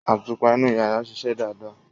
Àtùpá inu yara sìsẹ̀ dádá